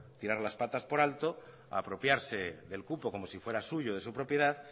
tirar las patas por alto apropiarse del cupo como si fuera suyo de su propiedad